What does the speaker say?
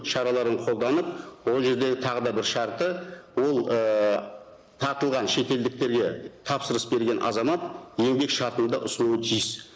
шараларын қолданып ол жердегі тағы да бір шарты ол ііі тартылған шетелдіктерге тапсырыс берген азамат еңбек шартын да ұсынуы тиіс